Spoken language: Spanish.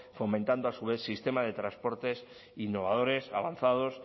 fomentando a su vez sistemas de transportes innovadores avanzados